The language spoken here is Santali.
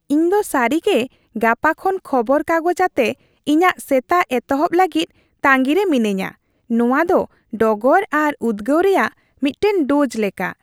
ᱤᱧᱫᱚ ᱥᱟᱹᱨᱤ ᱜᱮ ᱜᱟᱯᱟ ᱠᱷᱚᱱ ᱠᱷᱚᱵᱚᱨ ᱠᱟᱜᱚᱡᱽ ᱟᱛᱮ ᱤᱧᱟᱹᱜ ᱥᱮᱛᱟᱜ ᱮᱦᱚᱵᱚᱜ ᱞᱟᱹᱜᱤᱫ ᱛᱟᱺᱜᱤ ᱨᱮ ᱢᱤᱱᱟᱹᱧᱼᱟ ᱾ ᱱᱚᱶᱟ ᱫᱚ ᱰᱚᱜᱚᱨ ᱟᱨ ᱩᱫᱽᱜᱟᱹᱣ ᱨᱮᱭᱟᱜ ᱢᱤᱫᱴᱟᱝ ᱰᱳᱡᱽ ᱞᱮᱠᱟ ᱾